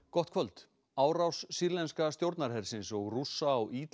gott kvöld árás sýrlenska stjórnarhersins og Rússa á